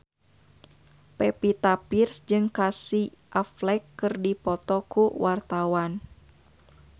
Pevita Pearce jeung Casey Affleck keur dipoto ku wartawan